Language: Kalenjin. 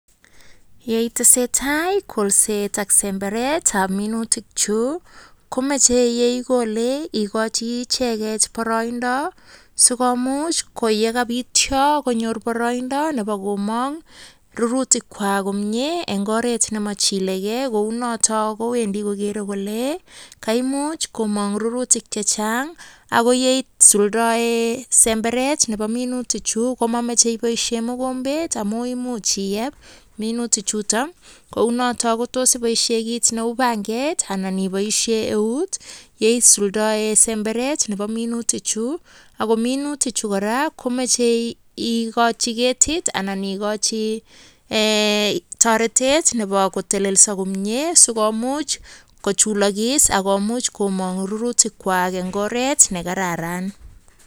Ya itesetai kolset ak semberetab minutik chu komache ye igole igochi icheget boroido sikomuch ko yekabityo konyor boroindo nebo komong rurutikwak komye en oret nemochilege. Kou noto kowendi kogere kole kaimuch komong rurutik che chang ago ye isuldaen semberet nebo minutichu komamoch eiboishen mogombet amun imuch iyeb minutik chuto kounoto kotos iboisie kit neu panget anan iboisie eut ye isuldaen semberet nebo minutik chu ago minutichu kora komache igochi ketit anan igochi toretet nebo kotelelso komye sikomuch kochulokis agomuch komong rurutikkwak en oret ne kararan.